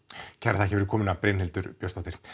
kærar þakkir fyrir komuna Brynhildur Björnsdóttir